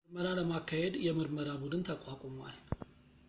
ምርመራ ለማካሄድ የምርመራ ቡድን ተቋቁሟል